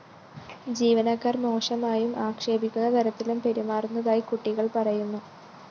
ജീവനക്കാര്‍ മോശമായും ആക്ഷേപിക്കുന്ന തരത്തിലും പെരുമാറുന്നതായി കുട്ടികള്‍ പറയുന്നു